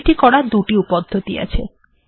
এটি করার দুটি পদ্ধতি আছে